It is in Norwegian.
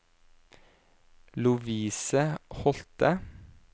Lovise Holthe